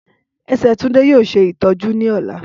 Ẹsẹ Tunde yoo ṣe itọju ni ọla.